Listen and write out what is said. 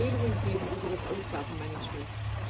Er soll Empfehlungen geben über das Ausgabenmanagement.